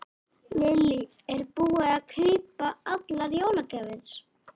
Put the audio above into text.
Lillý: Er búið að kaupa allar jólagjafir?